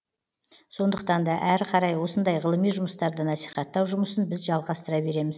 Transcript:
сондықтан да әрі қарай осындай ғылыми жұмыстарды насихаттау жұмысын біз жалғастыра береміз